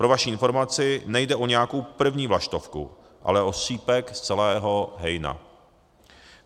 Pro vaší informaci, nejde o nějakou první vlaštovku, ale o střípek z celého hejna.